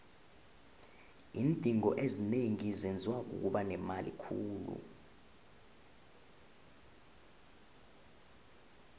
iindingo ezinengi zenziwa kukuba nemali khulu